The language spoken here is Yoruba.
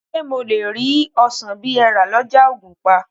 Ṣé mo lè rí ọsàn bí ẹ rà lọ́jà ògùnpa?